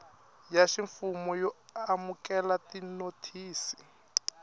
ya ximfumo yo amukela tinothisi